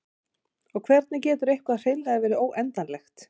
og hvernig getur eitthvað hreinlega verið óendanlegt